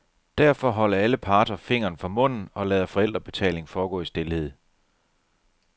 Derfor holder alle parter fingeren for munden og lader forældrebetaling foregå i stilhed.